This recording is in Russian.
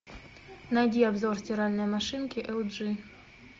найди обзор стиральной машинки эл джи